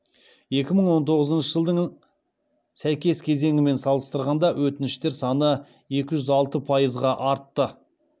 екі мың он тоғызыншы жылдың сәйкес кезеңімен салыстырғанда өтініштер саны екі жүз алты пайызға артты